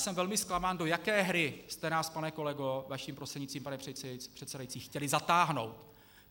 Jsem velmi zklamán, do jaké hry jste nás, pane kolego, vaším prostřednictvím, pane předsedající, chtěli zatáhnout.